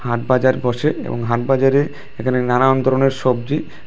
হাট বাজার বসে এবং হাট বাজারে এখানে নানান ধরনের সবজি--